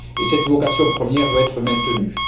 Et cette vocation première doit être maintenue.